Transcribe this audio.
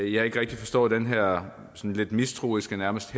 jeg ikke rigtig forstår den her lidt mistroiske og nærmest